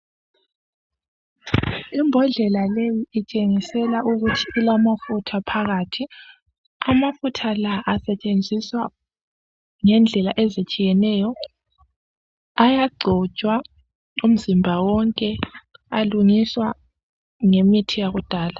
Imbodlela leyi itshengisela ukuthi ilamafutha phakathi. Amafutha la asetshenziswa ngendlela ezitshiyeneyo. Ayagcotshwa umzimba wonke. Alungiswa ngemithi yakudala.